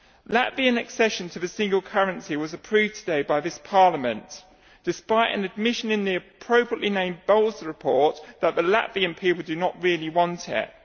Latvian accession to the single currency was approved today by this Parliament, despite an admission in the appropriately named Balz report that the Latvian people do not really want it.